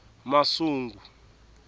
masungu